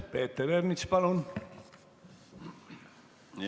Peeter Ernits, palun!